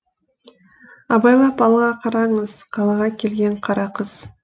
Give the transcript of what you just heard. абайлап алға қараңыз қалаға келген қара қыз